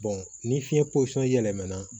ni fiɲɛ posɔn yɛlɛmana